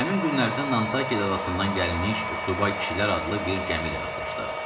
Həmin günlərdə Nantake adasından gəlmiş subay kişilər adlı bir gəmi ilə rastlaşdıq.